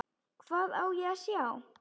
Hvað á ég að sjá?